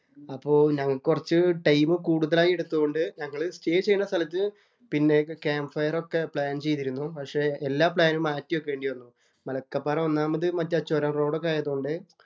അപ്പൊ ഞങ്ങള്‍ക്ക് കൊറച്ചു ടൈം കൂടുതലായി എടുത്തത് കൊണ്ട് ഞങ്ങള് സ്റ്റേ ചെയ്യുന്ന സ്ഥലത്ത് പിന്നെ ക്യാംമ്പ് ഫയര്‍ ഒക്കെ പ്ലാന്‍ ചെയ്തിരുന്നു. പക്ഷെ എല്ലാ പ്ലാനും മാറ്റി വെക്കേണ്ടി വന്നു. മലക്കപ്പാറ ഒന്നാമത് മറ്റേ ചൊരം റോഡ്‌ ഒക്കെ ആയത് കൊണ്ട്